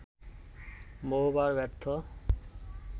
বহুবার ব্যর্থ